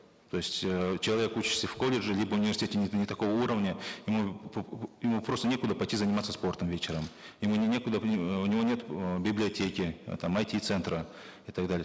то есть эээ человек учится в колледже либо университете не такого уровня ему ему просто некуда пойти заниматься спортом вечером ему некуда у него нет библиотеки там айти центра и так далее